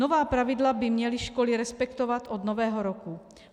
Nová pravidla by měly školy respektovat od Nového roku.